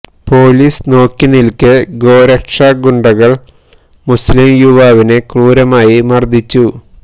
police നോക്കി നില്ക്കെ ഗോരക്ഷാ ഗുണ്ടകള് മുസ്ലിം യുവാവിനെ ക്രൂരമായി മര്ദിച്ചു